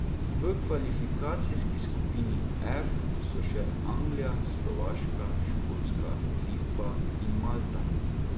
V kvalifikacijski skupini F so še Anglija, Slovaška, Škotska, Litva in Malta.